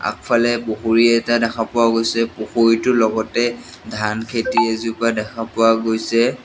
আগফালে পুখুৰী এটা দেখা পোৱা গৈছে পুখুৰীটোৰ লগতে ধান খেতি এজোপা দেখা পোৱা গৈছে।